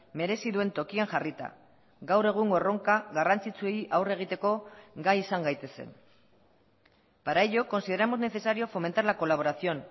merezi duen tokian jarrita gaur egungo erronka garrantzitsuei aurre egiteko gai izan gaitezen para ello consideramos necesario fomentar la colaboración